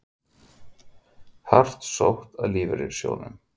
Hart sótt að lífeyrissjóðunum